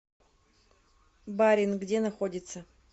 баринъ где находится